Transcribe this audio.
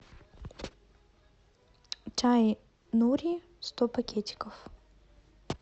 чай нури сто пакетиков